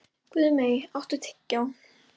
Guðmey, áttu tyggjó?